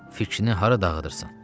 Fikrini hara dağıdırsan?